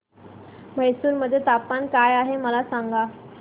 म्हैसूर मध्ये तापमान काय आहे मला सांगा